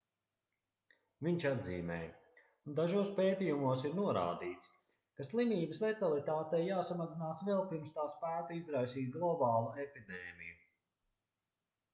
viņš atzīmēja dažos pētījumos ir norādīts ka slimības letalitātei jāsamazinās vēl pirms tā spētu izraisīt globālu epidēmiju